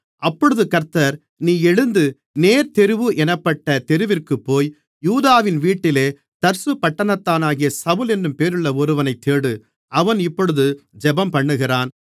அப்பொழுது கர்த்தர் நீ எழுந்து நேர்த்தெருவு என்னப்பட்ட தெருவிற்குப்போய் யூதாவின் வீட்டிலே தர்சுபட்டணத்தானாகிய சவுல் என்னும் பேருள்ள ஒருவனைத் தேடு அவன் இப்பொழுது ஜெபம்பண்ணுகிறான்